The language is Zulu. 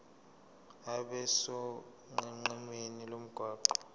abe sonqenqemeni lomgwaqo